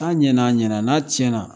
N'a ɲɛna, a ɲɛna n'a cɛn na